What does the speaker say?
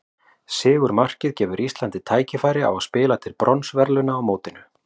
Sigurmarkið gefur Íslandi tækifæri á að spila til bronsverðlauna á mótinu.